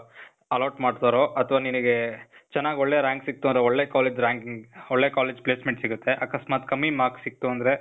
allot ಮಾಡ್ತಾರೋ, ಅಥ್ವಾ ನಿನಿಗೇ, ಚನಾಗ್ ಒಳ್ಳೆ rank ಸಿಗ್ತು ಅಂದ್ರೆ ಒಳ್ಳೆ ಕಾಲೇಜ್ ranking ಒಳ್ಳೆ ಕಾಲೇಜ್ placement ಸಿಗತ್ತೆ. ಅಕಸ್ಮಾತ್ ಕಮ್ಮಿ marks ಸಿಗ್ತು ಅಂದ್ರೆ